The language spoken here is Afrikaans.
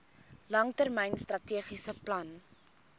langtermyn strategiese plan